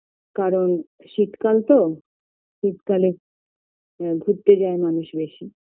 কারণ শীতকাল তো শীতকালে ঘুরতে যায় মানুষ বেশি